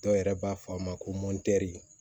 Dɔw yɛrɛ b'a fɔ a ma ko